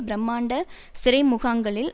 பிரமாண்ட சிறைமுகாங்களில்